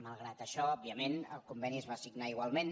malgrat això òbviament el conveni es va signar igualment